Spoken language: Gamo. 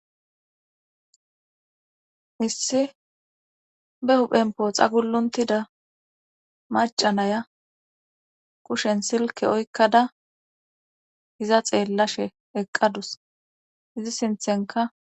issi be huphenpo xaguluntida macanaya kushen silke oykkada hiza xeellashe eqqadus izi sinthenka